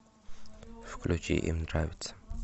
включи им нравится